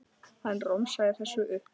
Hann romsaði þessu upp.